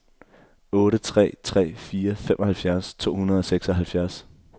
otte tre tre fire femoghalvfjerds to hundrede og seksoghalvfjerds